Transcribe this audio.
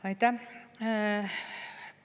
Aitäh!